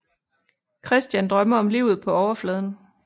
Christian drømmer om livet på overfladen